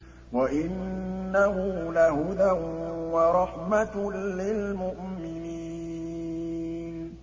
وَإِنَّهُ لَهُدًى وَرَحْمَةٌ لِّلْمُؤْمِنِينَ